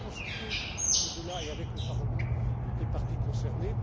Je vais consulter, au delà et avec le Parlement, toutes les parties concernées.